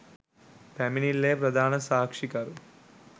පැමිණිල්ලේ ප්‍රධාන සාක්ෂිකරු